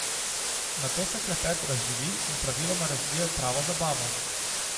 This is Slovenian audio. Nato se klepet razživi in praviloma razvije v pravo zabavo.